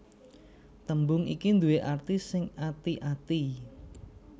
Tembung iki due arti sing ati ati